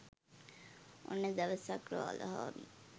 ඔන්න දවසක් රාලහාමි